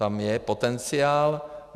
Tam je potenciál.